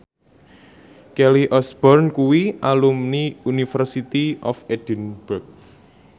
Kelly Osbourne kuwi alumni University of Edinburgh